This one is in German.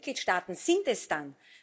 Welche Mitgliedstaaten sind es denn?